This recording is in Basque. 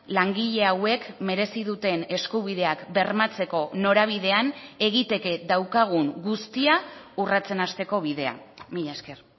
langile hauek merezi duten eskubideak bermatzeko norabidean egiteke daukagun guztia urratsen hasteko bidea mila esker